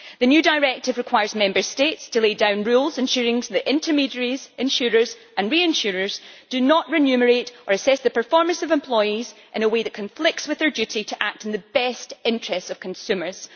The new directive requires Member States to lay down rules ensuring the intermediaries, insurers and reinsurers do not remunerate or assess the performance of employees in a way that conflicts with their duty to act in the best interests of consumers.